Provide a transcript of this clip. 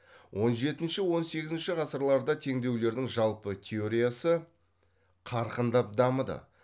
он жетінші он сегізінші ғасырларда теңдеулердің жалпы теориясы қарқындап дамыды